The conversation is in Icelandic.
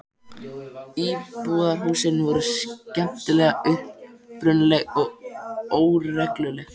Íbúðarhúsin voru skemmtilega upprunaleg og óregluleg.